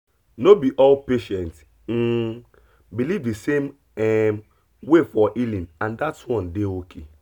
no be all patient um believe the same um way for healing and that one dey okay